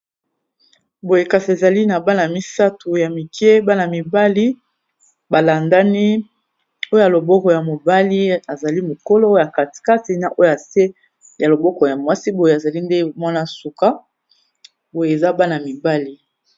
boye kasi ezali na bana misato ya mike bana mibali balandani oyo ya loboko ya mobali azali mokolo ya katikatina oyo ase ya loboko ya mwasi boye azali nde mwana suka boye eza bana - mibali